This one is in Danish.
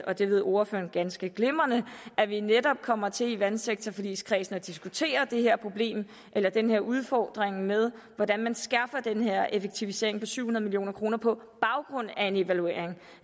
og det ved ordføreren ganske glimrende at vi netop kommer til i vandsektorforligskredsen at diskutere det her problem eller den her udfordring med hvordan man skærper den her effektivisering for syv hundrede million kroner på baggrund af en evaluering